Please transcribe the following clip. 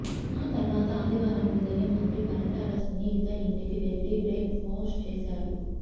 ఆ తర్వాత ఆదివారం ఉదయం మంత్రి పరిటాల సునీత ఇంటికి వెళ్ళి బ్రేక్ ఫాస్ట్ చేశారు